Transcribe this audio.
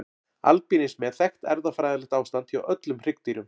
Albínismi er þekkt erfðafræðilegt ástand hjá öllum hryggdýrum.